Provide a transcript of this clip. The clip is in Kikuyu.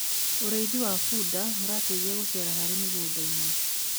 ũrĩithi wa bunda urateithia gucera harĩ mĩgũnda-inĩ